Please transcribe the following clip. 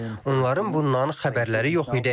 Onların bundan xəbərləri yox idi.